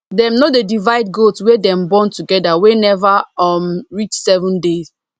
dem no dey divide goat wey dem born together wey never um reach seven day